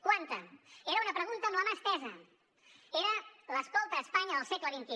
quanta era una pregunta amb la mà estesa era l’ escolta espanya del segle xxi